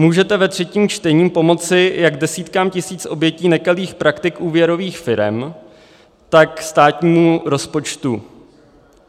Můžete ve třetím čtení pomoci jak desítkám tisíc obětí nekalých praktik úvěrových firem, tak státnímu rozpočtu.